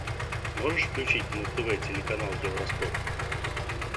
можешь включить на тв телеканал евроспорт